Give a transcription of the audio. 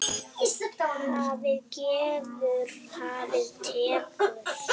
Hafið gefur, hafið tekur.